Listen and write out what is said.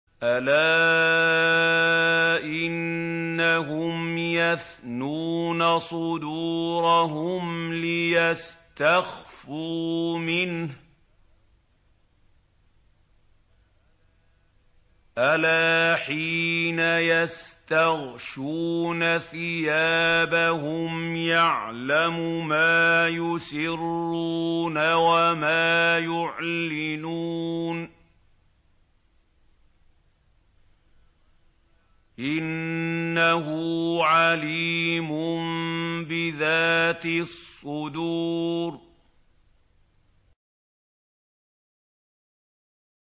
أَلَا إِنَّهُمْ يَثْنُونَ صُدُورَهُمْ لِيَسْتَخْفُوا مِنْهُ ۚ أَلَا حِينَ يَسْتَغْشُونَ ثِيَابَهُمْ يَعْلَمُ مَا يُسِرُّونَ وَمَا يُعْلِنُونَ ۚ إِنَّهُ عَلِيمٌ بِذَاتِ الصُّدُورِ